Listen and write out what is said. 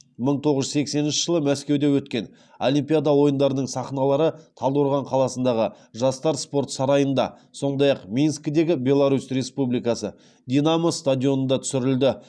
мың тоғыз жүз сексенінші жылы мәскеуде өткен олимпиада ойындарының сахналары талдықорған қаласындағы жастар спорт сарайында сондай ақ минскідегі беларусь республикасы динамо стадионында түсірілді